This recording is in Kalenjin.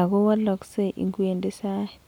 ago wologsei ingewendi sait.